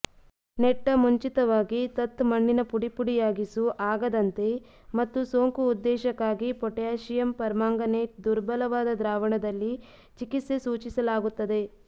ನೆಟ್ಟ ಮುಂಚಿತವಾಗಿ ತತ್ ಮಣ್ಣಿನ ಪುಡಿಪುಡಿಯಾಗಿಸು ಆಗದಂತೆ ಮತ್ತು ಸೋಂಕು ಉದ್ದೇಶಕ್ಕಾಗಿ ಪೊಟ್ಯಾಷಿಯಂ ಪರ್ಮಾಂಗನೇಟ್ ದುರ್ಬಲವಾದ ದ್ರಾವಣದಲ್ಲಿ ಚಿಕಿತ್ಸೆ ಸೂಚಿಸಲಾಗುತ್ತದೆ